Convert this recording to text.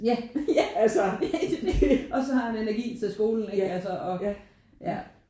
Ja og så har han energi til skolen ikke? Altså og ja